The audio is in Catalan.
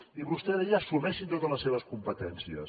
i vostè deia assumeixi totes les seves competències